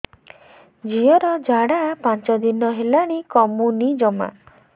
ଝିଅର ଝାଡା ପାଞ୍ଚ ଦିନ ହେଲାଣି କମୁନି ଜମା